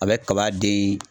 A bɛ kaba de